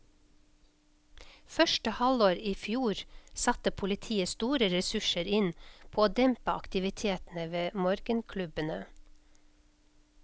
Første halvår i fjor satte politiet store ressurser inn på å dempe aktivitetene ved morgenklubbene.